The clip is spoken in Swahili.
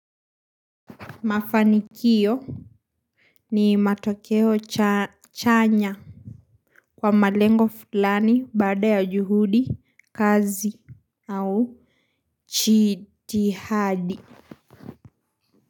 Mafanikio. Ni matokeo chanya kwa malengo fulani baada ya juhudi kazi au jidihadi.